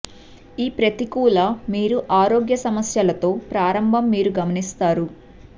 ఈ ప్రతికూల మీరు ఆరోగ్య సమస్యలు తో ప్రారంభం మీరు గమనిస్తారు